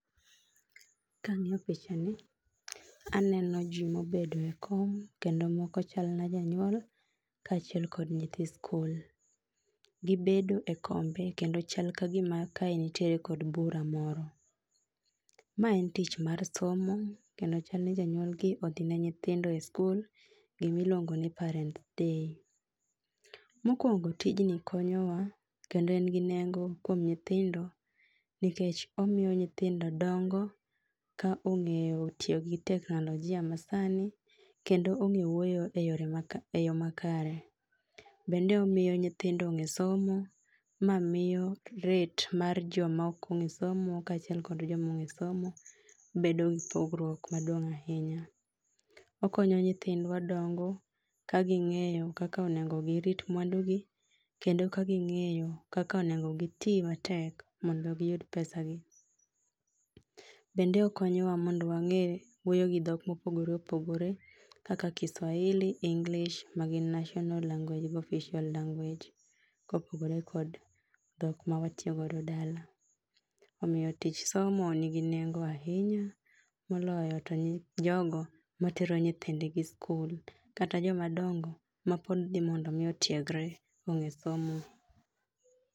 Kang'iyo pichani, aneno jii mobedo e kom kendo moko chalna janyuol kaachiel kod nyithi skul. Gibedo e kombe, kendo chal ka gima kae nitiere kod bura moro. Ma en tich mar somo, kendo chal ni jonyuol gi odhine nyithindo e skul, gimiluongo ni parent day. Mokwongo tijni konyowa, kendo en gi nengo kuom nyithindo, nikech omiyo dongo ka ong'eyo tiyo gi teknolojia ma sani kendo ong'e wuoyo e yore ma e yo makare. Bende omiyo nyithindo ong'e somo, ma miyo rate mar joma ok ong'e somo kachiel kod jomo ong'e somo, bedo gi pogruook maduong' ahinya. Okonyo nyithindwa dongo ka ging'eyo kaka onengo girit mwandu gi, kendo kaging'eyo kaka onengo gitii matek mondo giyud pesagi. Bende okonyowa mondo wang'e wuoyo gi dhok mopogore opogore kaka kiswahili, english ma gin national language go official language kopogore kod dhok mawatiyo go dala. Omiyo tich somo nigi nengo ahinya, moloyo to jogo matero nyithind gi skul akata jomadongo mapod dhi mondo mi otiegre ong'e somo